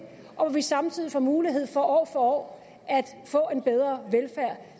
og hvor vi samtidig får mulighed for år for år at få en bedre velfærd